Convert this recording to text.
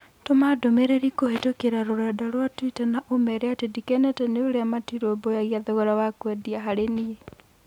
Tũma ndũmĩrĩri kũhītũkīra rũrenda rũa tũita na ũmeera atĩ ndĩkenete nĩ ũria matirũmbũyagia thogora wa kwendia harĩ niĩ